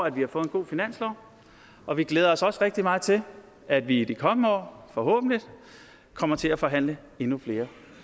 at vi har fået en god finanslov og vi glæder os også rigtig meget til at vi i de kommende år forhåbentlig kommer til at forhandle endnu flere